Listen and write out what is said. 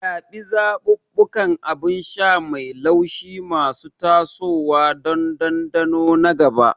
Zaɓi zaɓuɓɓukan abin sha mai laushi masu tasowa don dandano na gaba.